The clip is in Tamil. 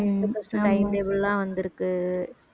tenth plus two time table லாம் வந்திருக்கு